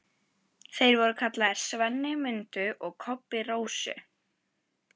Þeir voru kallaðir SVENNI MUNDU og KOBBI RÓSU.